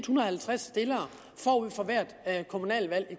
hundrede og halvtreds stillere forud for hvert kommunalvalg i